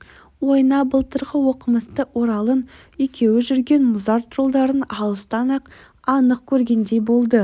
ойына былтырғы оқымысты оралып екеуі жүрген мұзарт жолдарын алыстан-ақ анық көргендей болды